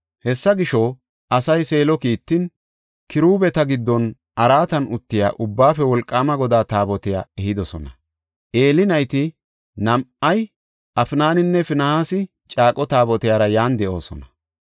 Hessa gisho, asay Seelo kiittin, kiruubeta giddon araatan uttiya Ubbaafe Wolqaama Godaa Taabotiya ehidosona. Eeli nayti nam7ay Afnaninne Finihaasi caaqo Taabotiyara yan de7oosona.